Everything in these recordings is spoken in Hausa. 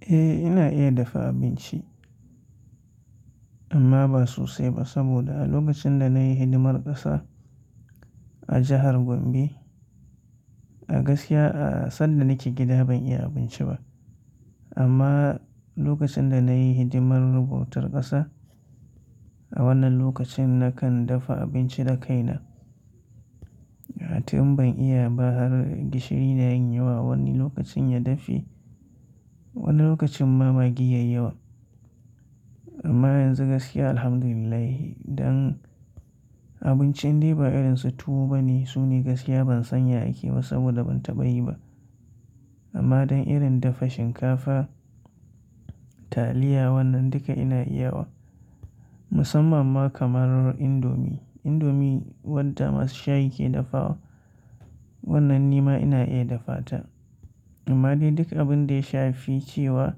Eh, ina iya dafa abinci amma ba sosai ba saboda a lokacin da na yi hidimar ƙasa a jahar Gombe a gaskiya a sanda nake gida ban iya abinci ba. Amma lokacin da na yi hidimar rubutar ƙasa a wannan lokacin na kan dafa abinci da kaina. Ma atum ban iya ba har gishiri na yin yawa, wani lokacin ya dafe, wani lokacin ma maggi yayi yawa. Amma yanzu gaskiya Alhamdulillah, don abincin dai ba irin su tuwo bane. Su ne gaskiya ban sanya ake ba saboda ban taɓa yi ba. Amma don irin dafa shinkafa, taliya wannan duka ina iya wa musamman ma kamar indomi. Indomi wadda masu shayi ke dafa wa wannan nima ina iya dafa ta. Amma dai duk abun da ya shafi cewa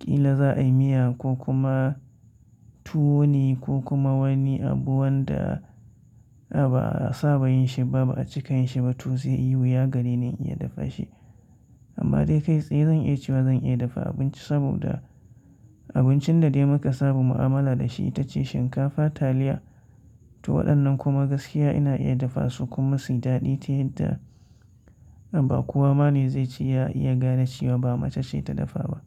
ƙila za a yi miya ko kuma tuwo ne ko kuma wani abu wanda a ba a saba yin shi ba, ba a cika yin shi ba to sai wuya gare ni iya dafa shi. Amma dai kai tsaye zan iya cewa zan iya dafa abinci saboda abincin da dai muka saba mu'amala da shi ita ce shinkafa, taliya to waɗannan kuma gaskiya ina iya dafa su kuma suyi daɗi ta yadda ba kowa ma ne zai ci ya iya gane cewa ba mace ce ta dafa ba.